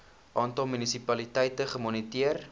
aantal munisipaliteite gemoniteer